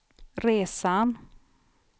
resan